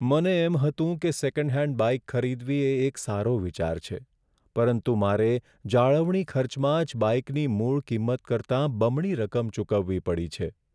મને એમ હતું કે સેકન્ડ હેન્ડ બાઇક ખરીદવી એ એક સારો વિચાર છે, પરંતુ મારે જાળવણી ખર્ચમાં જ બાઇકની મૂળ કિંમત કરતાં બમણી રકમ ચૂકવવી પડી છે.